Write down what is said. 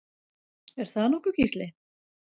Er það nokkuð Gísli?